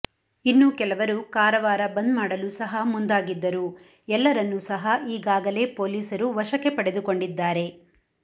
ಇನ್ನೂ ಕೆಲವರು ಕಾರವಾರ ಬಂದ್ ಮಾಡಲು ಸಹ ಮುಂದಾಗಿದ್ದರು ಎಲ್ಲರನ್ನೂ ಸಹ ಈಗಗಾಲೆ ಪೊಲೀಸರು ವಶಕ್ಕೆ ಪಡೆದುಕೊಂಡಿದ್ದಾರೆ